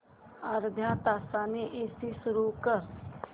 अर्ध्या तासाने एसी सुरू कर